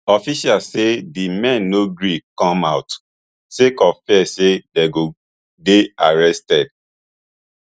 officials say di men no gree come out sake of fear say dem go dey arrested